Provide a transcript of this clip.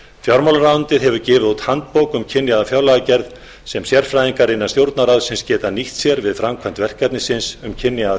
fjármálaráðuneytið hefur gefið út handbók um kynjaða fjárlagagerð sem sérfræðingar innan stjórnarráðsins geta nýtt sér við framkvæmd verkefnisins um kynjaða